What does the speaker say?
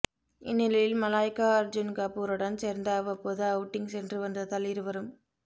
இந்நிலையில் மலாய்கா அர்ஜுன் கபூருடன் சேர்ந்து அவ்வப்போது அவுட்டிங் சென்று வந்ததால் இருவரும்